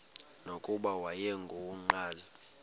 nokuba wayengu nqal